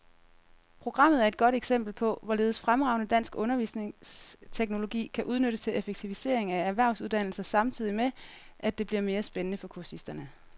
Programmet er et godt eksempel på, hvorledes fremragende dansk undervisningsteknologi kan udnyttes til effektivisering af erhvervsuddannelser samtidig med, at det bliver mere spændende for kursisterne.